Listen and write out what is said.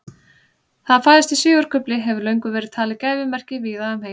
Það að fæðast í sigurkufli hefur löngum verið talið gæfumerki víða um heim.